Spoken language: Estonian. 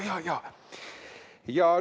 Jaa, jaa, jaa ...